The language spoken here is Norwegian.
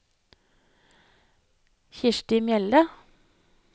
Kristi Mjelde